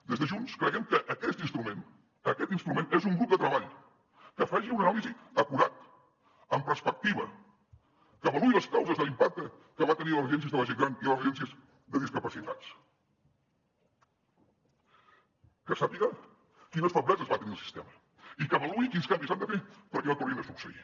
des de junts creiem que aquest instrument és un grup de treball que faci una anàlisi acurada amb perspectiva que avaluï les causes de l’impacte que va tenir a les residències de la gent gran i les residències de discapacitats que sàpiga quines febleses va tenir el sistema i que avaluï quins canvis s’han de fer perquè no tornin a succeir